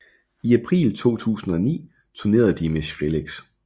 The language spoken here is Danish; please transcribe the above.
I april 2009 turnerede de med Skrillex